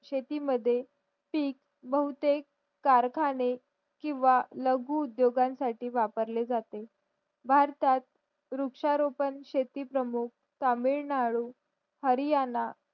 शेती मद्ये पीक बहुतेक कारखाने किंवा लघु उद्योगां साठी वापरले जाते भारतात वृक्षरोपेन शेती प्रमुख तामिळनाडू हरियाणा